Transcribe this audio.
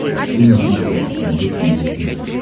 открой на смотрешке передачу его тв